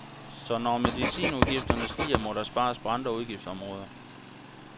Så når medicinudgifterne stiger, må der spares på andre udgiftsområder.